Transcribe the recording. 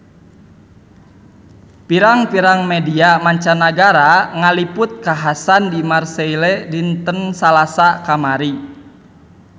Pirang-pirang media mancanagara ngaliput kakhasan di Marseille dinten Salasa kamari